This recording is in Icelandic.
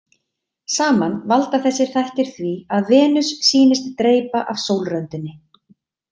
Saman valda þessir þættir því að Venus sýnist dreypa af sólröndinni.